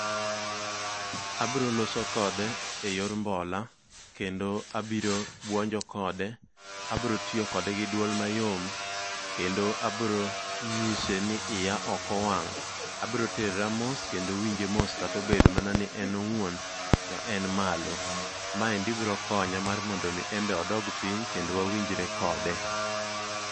Abiro loso kode eyor mbola. Kendo abiro buonjo kode, abiro tiyo kode gi duol mayom. Kendo abiro nyise ni iya ok owang' . Abiro terra mos kendo winje mos kata obedo mana ni en owuon to en malo. Ma endi biro konye mar mondo mi en be odog piny kendo wawinjre kode.